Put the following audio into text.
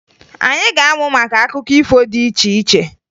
Anyị ga-amụ maka akụkọ ifo dị iche iche